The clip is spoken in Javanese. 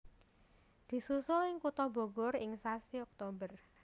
Disusul ing kutha Bogor ing sasi Oktober